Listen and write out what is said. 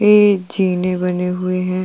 ये जीने बने हुए है।